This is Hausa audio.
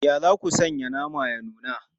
Ya za ku san naman ya nuna?